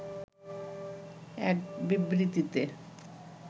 এক বিবৃতিতে